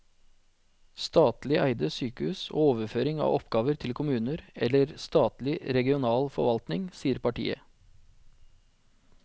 Statlig eide sykehus og overføring av oppgaver til kommuner eller statlig regional forvaltning, sier partiet.